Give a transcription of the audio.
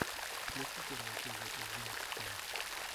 включи первый эпизод джен икс пен